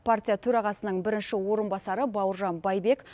партия төрағасының бірінші орынбасары бауыржан байбек